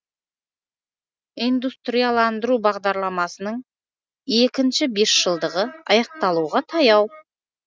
индустрияландыру бағдарламасының екінші бесжылдығы аяқталуға таяу